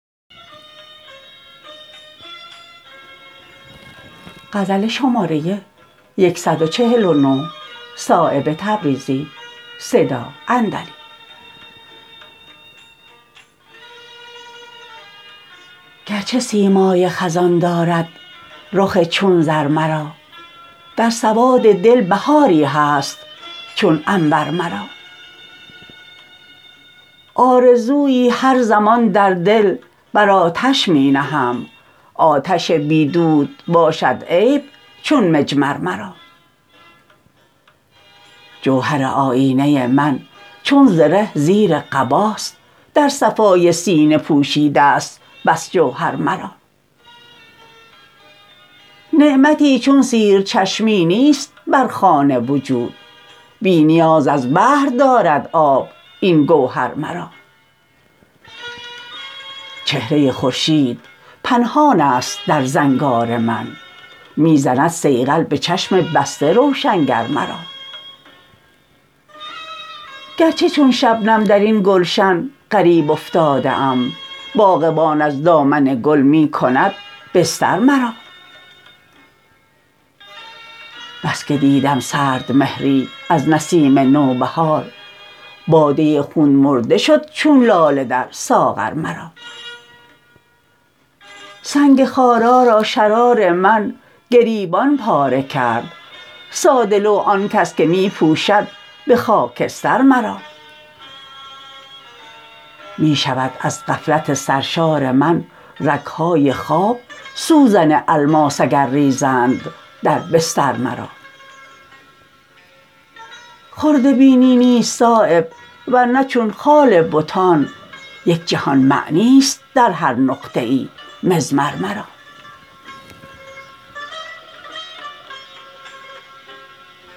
گرچه سیمای خزان دارد رخ چون زر مرا در سواد دل بهاری هست چون عنبر مرا آرزویی هر زمان در دل بر آتش می نهم آتش بی دود باشد عیب چون مجمر مرا جوهر آیینه من چون زره زیر قباست در صفای سینه پوشیده است بس جوهر مرا نعمتی چون سیر چشمی نیست بر خوان وجود بی نیاز از بحر دارد آب این گوهر مرا چهره خورشید پنهان است در زنگار من می زند صیقل به چشم بسته روشنگر مرا گرچه چون شبنم درین گلشن غریب افتاده ام باغبان از دامن گل می کند بستر مرا بس که دیدم سرد مهری از نسیم نوبهار باده خون مرده شد چون لاله در ساغر مرا سنگ خارا را شرار من گریبان پاره کرد ساده لوح آن کس که می پوشد به خاکستر مرا می شود از غفلت سرشار من رگ های خواب سوزن الماس اگر ریزند در بستر مرا خرده بینی نیست صایب ور نه چون خال بتان یک جهان معنی است در هر نقطه ای مضمر مرا